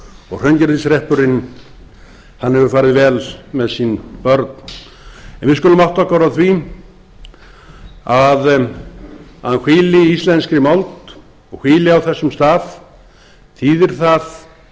og hraungerðishreppurinn hann hefur farið vel með sín börn en við skulum átta okkur á því að hann hvílir í íslenskri mold og hann hvílir á þessum stað þýðir það